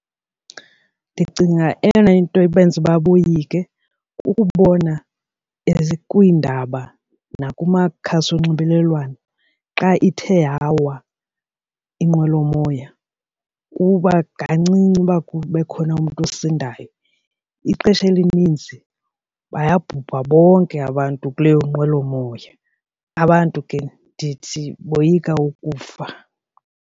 Ndicinga eyona nto ibenza ukuba boyike kukubona kwiindaba nakumakhasi onxibelelwano xa ithe yawa inqwelomoya kuba kancinci uba bekhona umntu osindayo. Ixesha elininzi bayabhubha bonke abantu kuleyo nqwelomoya, abantu ke ndithi boyika ukufa.